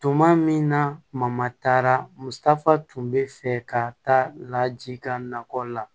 Tuma min na mamatara ma taafaa tun bɛ fɛ ka taa laji ka nakɔ la